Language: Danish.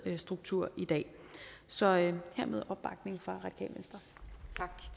struktur i dag så hermed opbakning